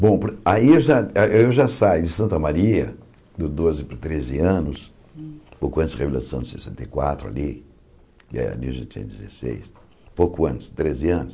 Bom, pr aí eu já aí eu já saio de Santa Maria, dos doze para os treze anos, pouco antes da revolução de sessenta e quatro ali, e ali eu já tinha dezesseis, pouco antes, treze anos.